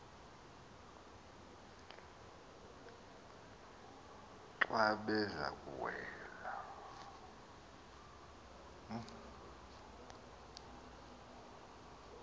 xa beza kuwela